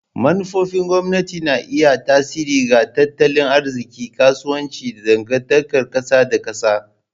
Manufofin gwamnati na iya yin tasiri ga tattalin arziki, kasuwanci, da dangantakar kasa da kasa.